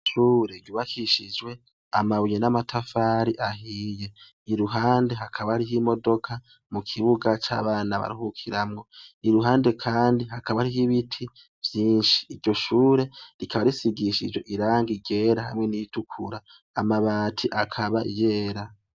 Ishure ryubakishijwe amabuye namatafari ahiye iruhande hakaba hariho imodoka mukibuga cabana baruhukiramwo iruhande kandi hakaba hariho ibiti vyinshi iryoshure rikaba risigishijwe irangi ryera hamwe niritukura amabati akaba yera